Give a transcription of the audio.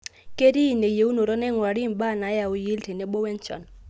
ketii ine eyieunoto naing'urari ibaa naayau yield tenebo wenchan